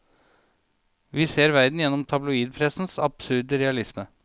Vi ser verden gjennom tabloidpressens absurde realisme.